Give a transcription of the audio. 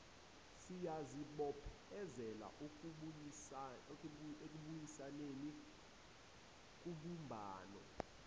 siyazibophezela ekubuyisaneni kubumbano